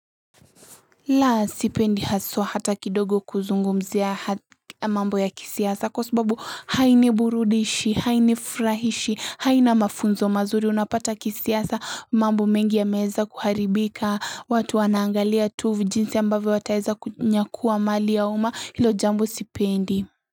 La sipendi haswa hata kidogo kuzungumzia mambo ya kisiasa kwa sababu hainiburudishi, hainifurahishi, haina mafunzo mazuri unapata kisiasa mambo mengi yameweza kuharibika watu wanaangalia tu jinsi ambavyo wataweza kunyakua mali ya uma hilo jambo sipendi.